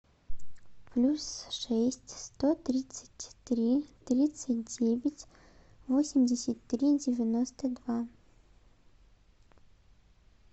плюс шесть сто тридцать три тридцать девять восемьдесят три девяносто два